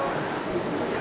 Xoş gəlmisiniz, xeyir olsun.